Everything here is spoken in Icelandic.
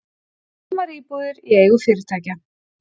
Tómar íbúðir í eigu fyrirtækja